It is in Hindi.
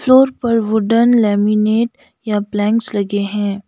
फ्लोर पर वुडनलैमिनेट या प्लैंक्स लगे हैं।